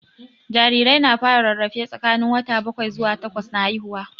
Jarirai na fara rarrafe tsakanin wata bakwai zuwa takwas na haihuwa